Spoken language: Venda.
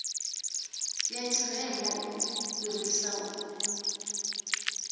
ya tshirema u fhirisa u